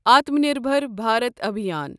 Atmanirbhar Bharat Abhiyan